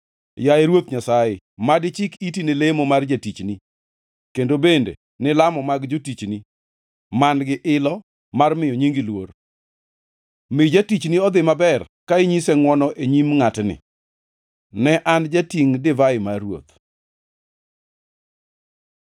Yaye, Ruoth Nyasaye, mad ichik iti ne lamo mar jatichnini kendo bende ni lamo mag jotichni man-gi ilo mar miyo nyingi luor. Mi jatichni odhi maber ka inyise ngʼwono e nyim ngʼatni.” Ne an jatingʼ divai mar ruoth.